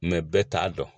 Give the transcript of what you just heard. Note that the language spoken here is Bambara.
bɛɛ t'a dɔn